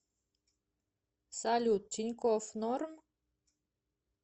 салют тинькофф норм